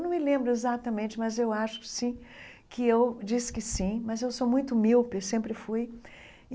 Não me lembro exatamente, mas acho que sim que eu disse que sim, mas sou muito míope, sempre fui.